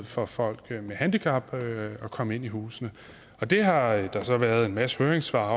for folk med handicap at komme ind i husene det har der så været en masse høringssvar